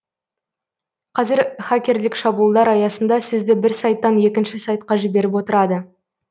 қазір хакерлік шабуылдар аясында сізді бір сайттан екінші сайтқа жіберіп отырады